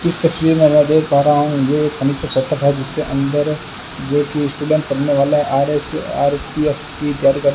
इस तस्वीर में मैं देख पा रहा हूं जिसके अंदर एक स्टूडेंट पढ़ने वाला है आर_एस आर_पी_एस की तैयारी कर --